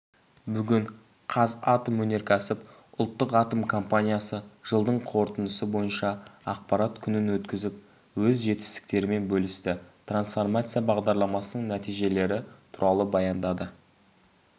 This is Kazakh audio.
бүгін қазатомөнеркәсіп ұлттық атом компаниясы жылдың қорытындысы бойынша ақпарат күнін өткізіп өз жетістіктерімен бөлісті трансформация бағдарламасының нәтижелері туралы баяндады